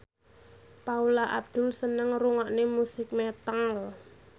Paula Abdul seneng ngrungokne musik metal